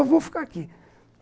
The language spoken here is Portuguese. Eu vou ficar aqui.